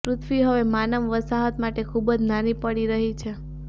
પૃથ્વી હવે માનવ વસાહત માટે ખુબ જ નાની પડી રહી છે